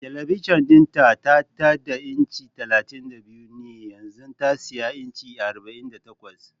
Talabijin din ta tada inci 32 ne yanzu ta siyi inci 48